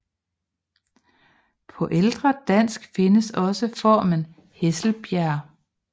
På ældre dansk findes også formen Hesselbjerg